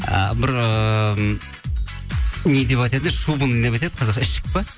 ы бір ыыы не деп айтатын еді шубыны не деп ішік па